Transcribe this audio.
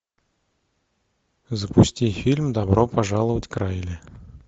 запусти фильм добро пожаловать к райли